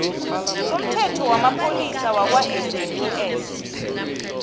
somthetho wamapholisa wakwasaps